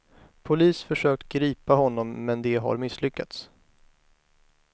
Polis försökt gripa honom, men de har misslyckats.